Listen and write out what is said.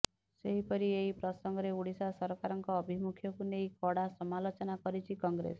ସେହିପରି ଏହି ପ୍ରସଙ୍ଗରେ ଓଡ଼ିଶା ସରକାରଙ୍କ ଆଭିମୁଖ୍ୟକୁ ନେଇ କଡ଼ା ସମାଲୋଚନା କରିଛି କଂଗ୍ରେସ